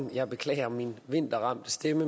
stillet